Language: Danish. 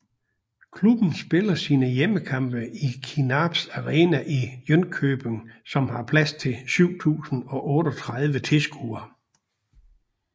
Klubben spiller sine hjemmekampe i Kinnarps arena i Jönköping som har plads til 7038 tilskuere